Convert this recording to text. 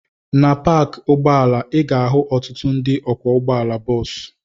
Na paakị ụgbọala, ị ga-ahụ ọtụtụ ndị ọkwọ ụgbọala bọọsụ.